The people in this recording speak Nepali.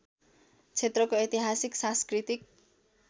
क्षेत्रको ऐतिहासिक सांस्कृतिक